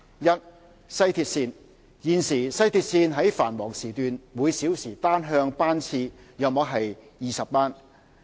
一西鐵線現時，西鐵線於繁忙時段每小時單向班次約為20班。